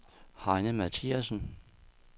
Heine Mathiassen